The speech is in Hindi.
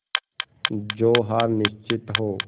जो हार निश्चित हो